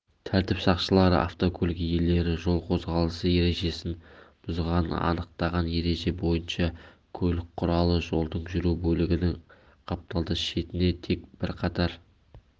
тәртіп сақшылары автокөлік иелері жол қозғалысы ережесін бұзғанын анықтаған ереже бойынша көлік құралы жолдың жүру бөлігінің қапталдас шетіне тек бір қатар